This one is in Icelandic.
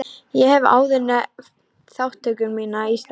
Ég hef áður nefnt þátttöku mína í starfi